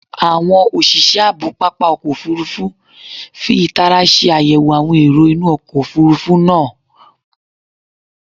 Awọn oṣiṣẹ aabo papa ọkọ ofurufu fi taara ṣe ayẹwo awọn ero inu ọkọ ofurufu naa